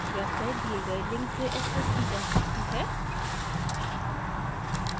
website the गए link से accessed की जा सकती है